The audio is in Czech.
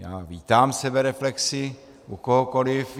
Já vítám sebereflexi u kohokoliv.